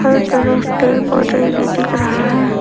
हर तरफ पेड़ पौधे ही दिख रहा है।